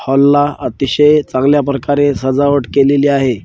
हॉलला अतिशय चांगल्या प्रकारे सजावट केलेली आहे.